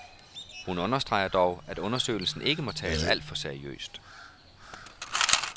Hun understreger dog, at undersøgelsen ikke må tages alt for seriøst.